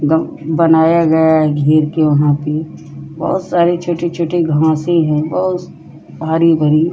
गम बनाया गया है घेर के वहां पे। बोहोत सारे छोटे-छोटे घासी हैं बोहोत हरी-भरी ।